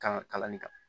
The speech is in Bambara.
Kan kalanni kɛ